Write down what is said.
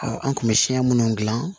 an kun bɛ siɲɛ minnu dilan